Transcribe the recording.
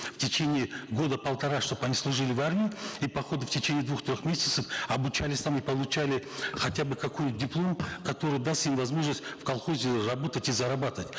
в течение года полтора чтобы они служили в армии и по ходу в течение двух трех месяцев обучались там и получали хотя бы диплом который даст им возможность в колхозе работать и зарабатывать